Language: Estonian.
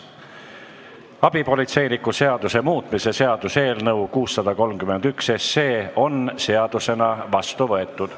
Abipolitseiniku seaduse muutmise seaduse eelnõu 631 on seadusena vastu võetud.